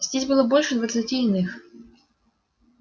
здесь было больше двадцати иных